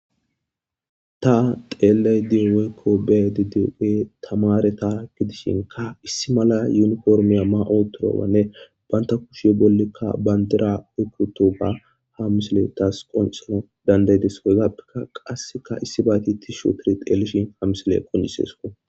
ta xeeley dio weykko be didiuge tamare ta gidishinka issi mala yuniformiya ma7o torowanne banta kushiye bollikka bayndera oykkuto ba ha misile tas qonxolo dandaydes eygappeka qasseka issi bayti ti shootiri xeelishin ha misile qonjiseso